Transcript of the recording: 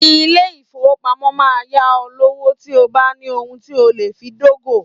Ilé-ìfowópamọ́ máa yá ọ lówó tí o bá ní ohun tí o lè fi dógò.